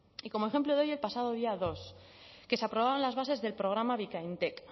y como ejemplo de ello el pasado día dos que se aprobaban las bases del programa bikaintek